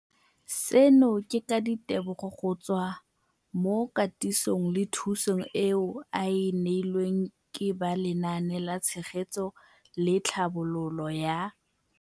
Seno ke ka ditebogo go tswa mo katisong le thu song eo a e neilweng ke ba Lenaane la Tshegetso le Tlhabololo ya.